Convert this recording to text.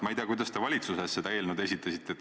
Ma ei tea, kuidas te valitsuses seda eelnõu esitasite.